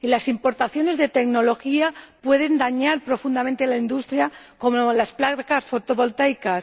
Y las importaciones de tecnología pueden perjudicar profundamente a la industria, como las placas fotovoltaicas.